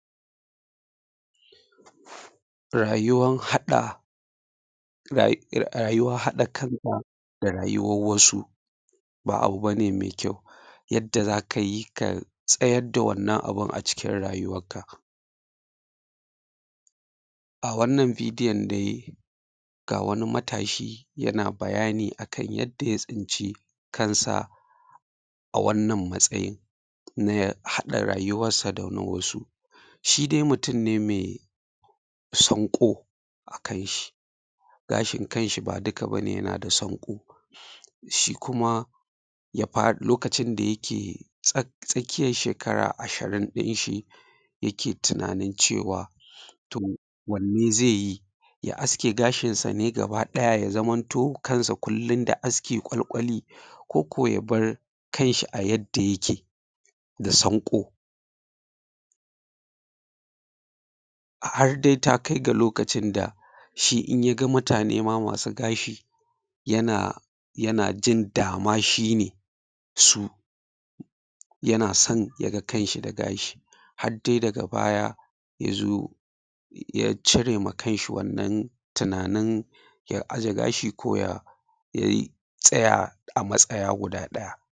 ayuwan haɗa rayuwa haɗa kanka da rayuwan wasu ba abu bane mai kyau yadda zakayi ka tsayar da wannan abun a cikin rayuwanka. A wannan bidiyon dai ga wani matashi yana bayani akan yadda ya tsinci kansa a wannan matsayin na ya haɗa rayuwansa da wasu. shidai mutum ne mai sanko a kanshi gashin kanshi ba duka yana da sanko a kanshi shi kuma shi kuma ya faru lokacin da yake tsakiyan shekara ashirin dins hi yake tunanin cewa to wanne zai yi ya aske gashin sa ne gaba daya ya zanto ko yaushe kansa kullum da aski kwalkwali koko yabar kanshi a yan da yake da sanko har dai takai ga lokacin da shi inyaga mutane ma masu gashi yanajin dama shine su yana son yaga kanshi da gashi har dai daga baya yazo ya cire ma kanshi wannan tunanin ya aje gashi ko ya tsaya a matsaya guda